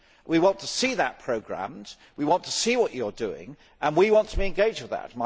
We want to see that programmed, we want to see what you are doing and we want to be engaged with that.